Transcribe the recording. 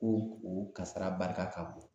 Ko u kasara barika ka bon